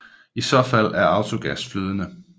I så fald er autogas flydende